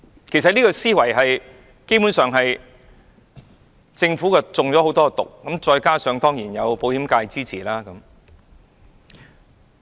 其實，這個思維......基本上，政府中了很多"毒"，而保險界當然對政府的建議表示支持。